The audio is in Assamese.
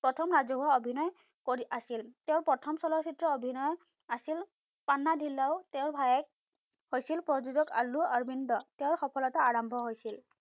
প্ৰথম ৰাজহুৱা অভিনয় কৰি আছিল, তেওঁৰ প্ৰথম চলচিত্ৰ অভিনয় আছিল, পান্না ধিল্লাও তেঁৰ ভায়েক, হৈছিল প্ৰযোজক আলু অৰবিন্দ, তেওঁৰ সফলতা আৰম্ভ হৈছিল।